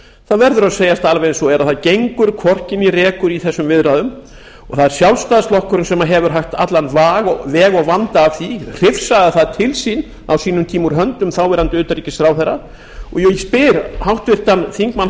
það verður að segjast alveg eins og er að það gengur hvorki né rekur í þessum viðræðum og það er sjálfstæðisflokkurinn sem hefur haft allan veg og vanda af því hrifsaði það til sín á sínum tíma úr höndum þáv utanríkisráðherra og ég spyr háttvirtan þingmann